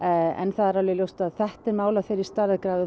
það er ljóst að þetta er mál af þeirri stærðargráðu